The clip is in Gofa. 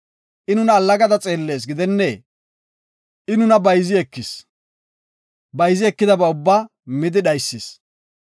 I nuna allagada xeellees gidennee? I nuna bayzi ekis. Bayzi ekidaba ubbaa midi dhaysis.